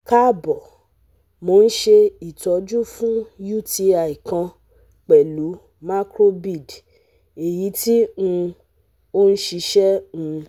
Kaabo, Mo n ṣe itọju fun UTI kan pẹlu macrobid, eyiti um o n ṣiṣẹ um